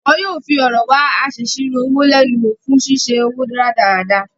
Wọ́n yóò fi ọ̀rọ̀ wá asèsirò owó lẹ́nu wo fún ṣíṣe owó rádaràda.